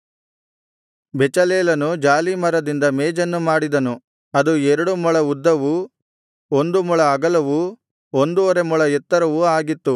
ಬೆಚಲೇಲನು ಜಾಲೀಮರದಿಂದ ಮೇಜನ್ನು ಮಾಡಿದನು ಅದು ಎರಡು ಮೊಳ ಉದ್ದವೂ ಒಂದು ಮೊಳ ಅಗಲವೂ ಒಂದುವರೆ ಮೊಳ ಎತ್ತರವೂ ಆಗಿತ್ತು